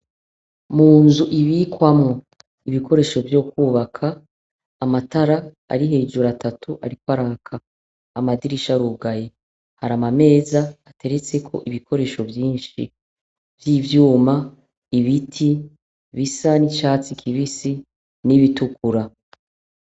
Munzu ibikwamwo ibikoresho vyukubaka amatara ari hejuru atatu ariko araka amadirisha arugaye hari amameza ateretseko ibikoresho vyinshi vyivyuma ibiti bisa nicatsi kibisi nibitukura.